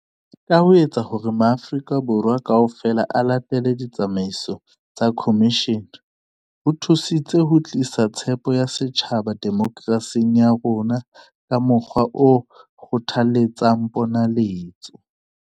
Ka ho etsa hore maAfri-ka Borwa kaofela a latele ditsamaiso tsa khomishene, ho thusitse ho tlisa tshepo ya setjhaba demokerasing ya rona ka mokgwa o kgothaletsang ponaletso.